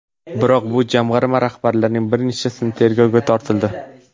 Biroq bu jamg‘arma rahbarlarining bir nechtasi tergovga tortildi.